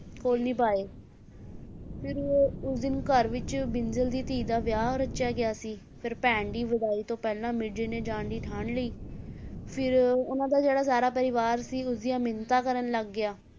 call ਨਿਭਾਏ ਫਿਰ ਉਸ ਦਿਨ ਘਰ ਵਿੱਚ ਬਿੰਜਲ ਦੀ ਧੀ ਦਾ ਵਿਆਹ ਰਚਿਆ ਗਿਆ ਸੀ, ਫਿਰ ਭੈਣ ਦੀ ਵਿਦਾਈ ਤੋਂ ਪਹਿਲਾਂ ਮਿਰਜ਼ੇ ਨੇ ਜਾਣ ਦੀ ਠਾਣ ਲਈ, ਫਿਰ ਉਹਨਾਂ ਦਾ ਜਿਹੜਾ ਸਾਰਾ ਪਰਿਵਾਰ ਸੀ ਉਸਦੀਆਂ ਮਿੰਨਤਾਂ ਕਰਨ ਲੱਗ ਗਿਆ,